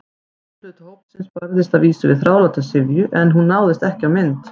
Drjúgur hluti hópsins barðist að vísu við þráláta syfju- en hún náðist ekki á mynd.